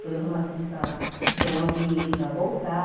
Foi arrumar serviço para ganhar um dinheiro para voltar.